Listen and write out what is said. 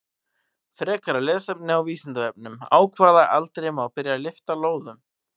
Frekara lesefni á Vísindavefnum: Á hvaða aldri má byrja að lyfta lóðum?